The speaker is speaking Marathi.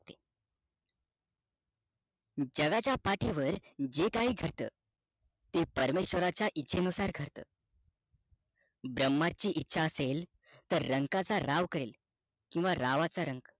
जगाचा पाठीवर जे काही घडत ते परमेशवराचा इच्छे नुसार घडतं ब्रम्हाची इच्छा असेल तर तर रंका चा राव करेल किंवा रावच रंक